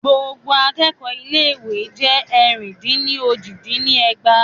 Gbogbo akẹ́kọ̀ọ́ ilé ìwé jé ẹ̀rin-dín-ní-ojì dín ní ẹgbàá.